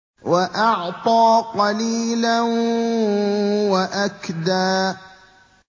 وَأَعْطَىٰ قَلِيلًا وَأَكْدَىٰ